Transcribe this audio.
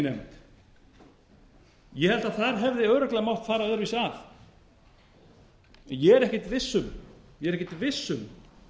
nefnd ég held að þar hefði örugglega mátt fara öðruvísi að en ég er ekkert viss um